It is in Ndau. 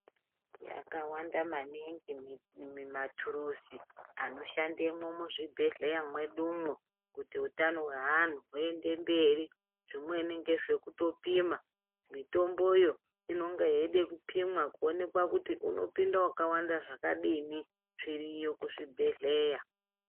Yakawanda maningi ,maturuzi anoshandemwo muzvibhehlera mwedumwo, kuti utano hweanhu huende mberi, zvimweni ngezve kuto pima mitombo yo inenge yeida kupimwa kuonekwa kuti unopinda wakawanda zvakadini, zviriyo kuzvibhehleya.